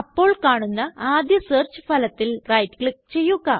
അപ്പോൾ കാണുന്ന ആദ്യ സെര്ച്ച് ഫലത്തില് റൈറ്റ് ക്ലിക്ക് ചെയ്യുക